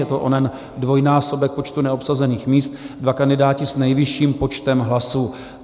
Je to onen dvojnásobek počtu neobsazených míst, dva kandidáti s nejvyšším počtem hlasů.